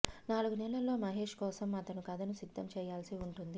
నాలుగు నెలల్లో మహేష్ కోసం అతను కథను సిద్ధం చేయాల్సి ఉంటుంది